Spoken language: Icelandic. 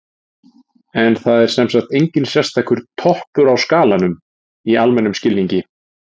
en það er sem sagt enginn sérstakur „toppur á skalanum“ í almennum skilningi